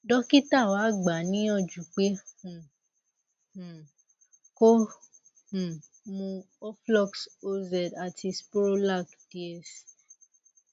dókítà wa gbà á níyànjú pé um um kó um mu oflox oz àti sporolac ds